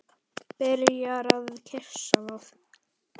Byrjar að kyssa það.